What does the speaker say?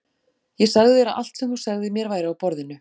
Ég sagði þér að allt sem þú segðir mér væri á borðinu.